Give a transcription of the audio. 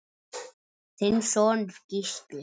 Þinn sonur, Gísli.